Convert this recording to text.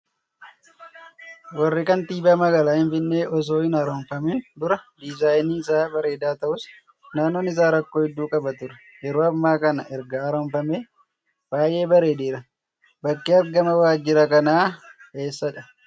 waajirri kantiibaa magaalaa Finfinnee osoo hin haaromfamiin dura diizaayiniin isaa bareedaa ta'us, nannoon isaa rakkoo hedduu qaba ture. Yeroo ammaa kana erga haaromfamee baay'ee bareedeera. Bakki argama waajjira kanaa eessadha?